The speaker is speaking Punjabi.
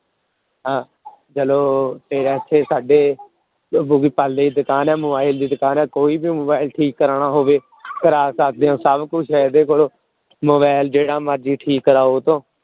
ਹਾਂ ਚਲੋ ਫਿਰ ਇੱਥੇ ਸਾਡੇ ਦੀ ਦੁਕਾਨ ਹੈ mobile ਦੀ ਦੁਕਾਨ ਹੈ ਕੋਈ ਵੀ mobile ਠੀਕ ਕਰਵਾਉਣਾ ਹੋਵੇ ਕਰਵਾ ਸਕਦੇ ਹੋ ਸਭ ਕੁਛ ਹੈ ਇਹਦੇ ਕੋਲ mobile ਜਿਹੜਾ ਮਰਜ਼ੀ ਠੀਕ ਕਰਵਾਓ ਉਹਤੋਂ।